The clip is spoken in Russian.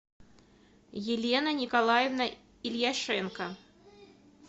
елена николаевна ильяшенко